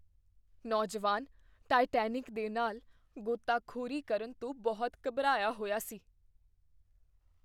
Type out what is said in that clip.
ਨੌਜਵਾਨ ਟਾਈਟੈਨਿਕ ਦੇ ਨਾਲਾਂ ਗੋਤਾਖੋਰੀ ਕਰਨ ਤੋਂ ਬਹੁਤ ਘਬਰਾਇਆ ਹੋਇਆ ਸੀ।